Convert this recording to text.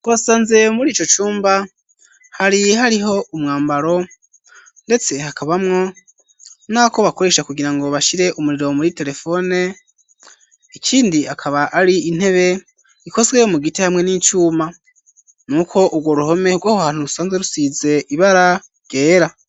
Twasanze murico cumba hari hariho umwambaro ndetse hakabamwo nako bakoresha kugirango bashire umuriro muri telefone ikindi akaba ari intebe ikozwe mu giti hamwe n'icuma nuko urwo ruhome rwoho hantu rusanze rusize ibara ryera.